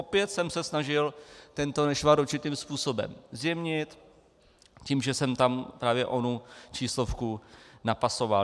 Opět jsem se snažil tento nešvar určitým způsobem zjemnit tím, že jsem tam právě onu číslovku napasoval.